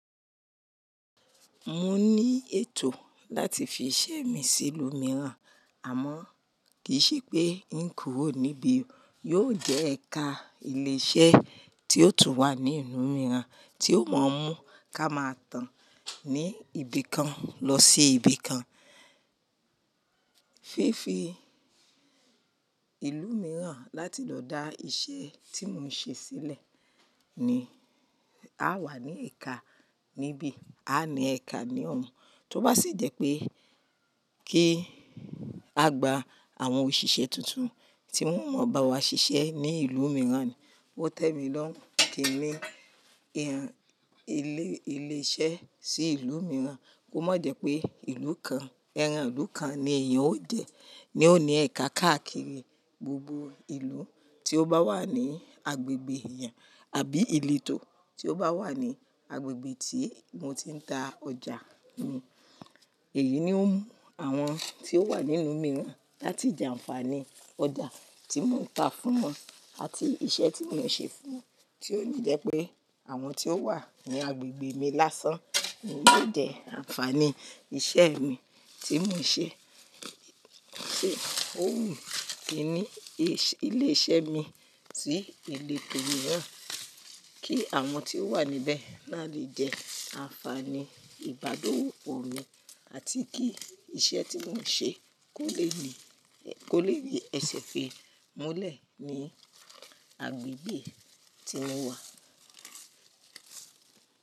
Mo ní ètò láti fi iṣẹ́ mi sí ìlú mìíràn, àmọ́ kì í ṣe pé n kúrò níbí yóò jẹ́ ẹ̀ka ilé-iṣẹ́ tí yóò tún wà ní ìlú mìíràn tí ó mọ̀ ọ́n mú ká máa tàn ní ibìkan lọ sí ibìkan. Fífi ìlú mìíràn láti lọ dá iṣẹ́ tí mo ń ṣe sílẹ̀ ní, a wà ní ẹ̀ka níbí, a ní ẹ̀ka ní ọ̀ún, tó bá sì jẹ́ pé kí a gba àwọn òṣìṣẹ́ tuntun tí wón mọ̀ bá wa ṣiṣẹ́ ní ìlú mìíràn ni o tẹ mi lọ́run kín ni ilé iṣẹ́ sí ìlú mìíràn kó má jẹ́ pé ìlú kan, ẹran ìlú kan ni èèyàn ó jẹ, ni ó ní ẹ̀ka káàkiri gbogbo ìlú tí ó bá wà ní agbègbè èèyàn àbí ìletò tí ó bá wà ní agbègbè tí mo ti ń ta ọjà mi. Èyí ni ó mú àwọn tí ó wà nínú mìíràn láti jẹ ànfàní ọjà tí mò ń ta fún wọn àti iṣẹ́ tí mò ń ṣe fún wọn, tí ó yóò jẹ́ pé àwọn tí ó wà ní agbègbè mi lásán ni yóò jẹ ànfàní iṣẹ́ mi tí mò ń ṣe. Ó wù mí kí ní ilé iṣẹ́ mi sí ìleto mìíràn kí àwọn tí ó wà níbẹ̀ náà lè jẹ ànfàní ìbádowopo mi àti kí iṣẹ́ tí mò ń ṣe kó le ri ẹsẹ̀ fi múlẹ̀ ní agbègbè tí mo wà.